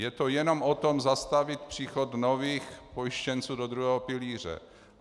Je to jenom o tom, zastavit příchod nových pojištěnců do druhého pilíře.